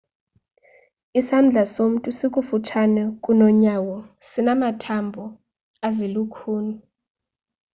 isandla somntu sikufutshane kunonyawo sinamathambo ezilukhuni